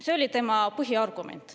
See oli tema põhiargument.